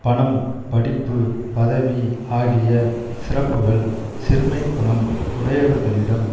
பணம் படிப்பு பதவி ஆகிய சிறப்புகள் சிறுமைக்குணம் உடையவர்களிடம்